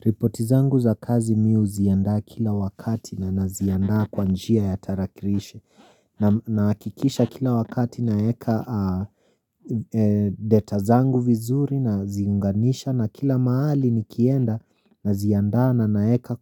Ripotizangu za kazi mi huziandaa kila wakati na naziandaa kwa njia ya tarakirishi na naakikisha kila wakati naeka data zangu vizuri naziunganisha na kila mahali nikienda naziandaa na naeka